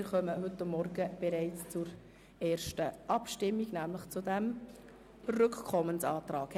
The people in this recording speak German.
Wir kommen somit bereits zur ersten Abstimmung, nämlich zu jener über den Rückkommensantrag.